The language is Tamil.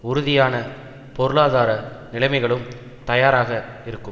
உறுதியான பொருளாதார நிலைமைகளும் தயாராக இருக்கும்